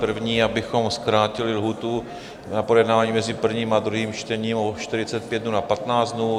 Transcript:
První, abychom zkrátili lhůtu na projednávání mezi prvním a druhým čtením o 45 dnů na 15 dnů.